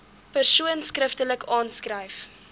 persoon skriftelik aanskryf